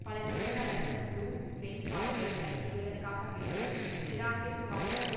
பல தொழிலாளர்கள் Le Pen பாதையை தடை செய்வதற்காக வேண்டி சிராக்கிற்கு வாக்களிக்க